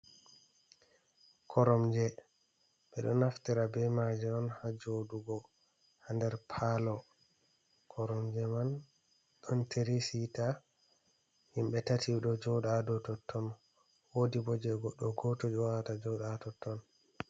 Koromje ɓe ɗo naftira be maaje on, haa joɗuugo haa nder paalo koromje man. Ɗon tiri siita himɓe tati ɗo jooɗa dow totton .Woodi bo jey goɗɗo gooto joɗata totton.